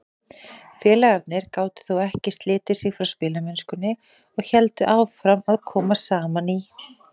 Félagarnir gátu þó ekki slitið sig frá spilamennskunni og héldu áfram að koma saman í